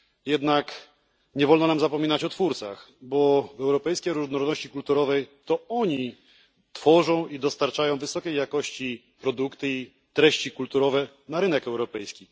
Jednak nie wolno nam zapominać o twórcach, bo w europejskiej różnorodności kulturowej to oni tworzą i dostarczają wysokiej jakości produkty i treści kulturowe na rynek europejski.